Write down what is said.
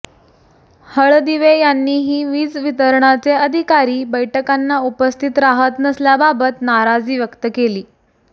हळदिवे यांनीही वीज वितरणचे अधिकारी बैठकांना उपस्थित राहत नसल्याबाबत नाराजी व्यक्त केली